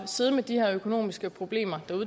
sidde med de her økonomiske problemer